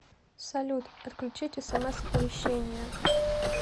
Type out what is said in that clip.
салют отключить смс оповещения